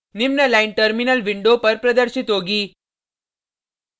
निम्न line terminal window पर प्रदर्शित होगी